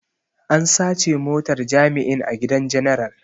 An sace motar jami'in a gidan general.